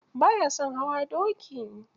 Ba ya son hawa doki.